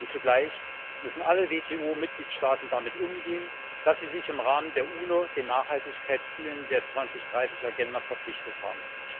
Und zugleich müssen alle WTO Mitgliedstaaten damit umgehen, dass sie sich im Rahmen der UNO den Nachhaltigkeitszielen der Agenda 2030 verpflichtet haben.